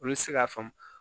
Olu tɛ se k'a faamu